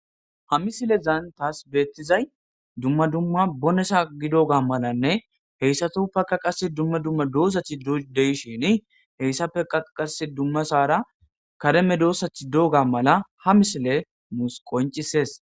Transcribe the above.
ha misilezan taas beettizay dumma dumma bonesa gidoga malanne heyssatuppekka qasse dumma dumma doozatti de7ishini heyssatapppekkkaa qasse dummasaara kare medoossati dooga mala ha misiley nussi qoncises